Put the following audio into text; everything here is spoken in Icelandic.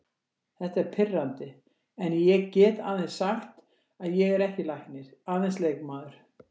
Þetta er pirrandi en ég get aðeins sagt að ég er ekki læknir, aðeins leikmaður.